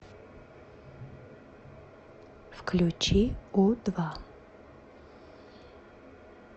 включи у два